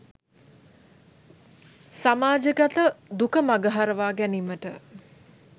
සමාජගත දුක මඟ හරවා ගැනීමට